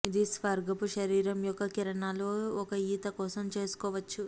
ఇది స్వర్గపు శరీరం యొక్క కిరణాలు ఒక ఈత కోసం చేసుకోవచ్చు